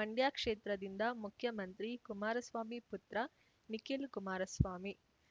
ಮಂಡ್ಯ ಕ್ಷೇತ್ರದಿಂದ ಮುಖ್ಯಮಂತ್ರಿ ಕುಮಾರಸ್ವಾಮಿ ಪುತ್ರ ನಿಖಿಲ್ ಕುಮಾರಸ್ವಾಮಿ